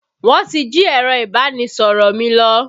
Wọn ti jí ẹ̀rọ ìbánisọ̀rọ̀ mi lọ